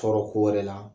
Tɔɔrɔ ko wɛrɛ la